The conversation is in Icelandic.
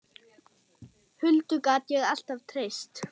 Huldu gat ég alltaf treyst.